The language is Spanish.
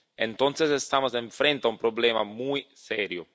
entonces estamos frente a un problema muy serio.